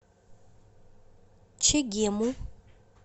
чегему